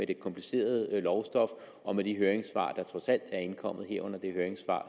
det komplicerede lovstof og de høringssvar der trods alt er indkommet herunder det høringssvar